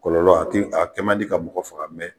Kɔlɔlɔ a ti ,a kɛ man di ka mɔgɔ faga